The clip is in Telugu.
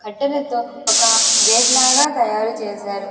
అట్టలతో ఒక గేట్ లాగా తయారు చేశారు.